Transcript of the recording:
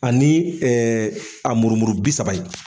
Ani a murumuru bi saba in.